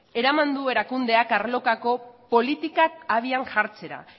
eraman du erakundeak arlokako politikak abian jartzera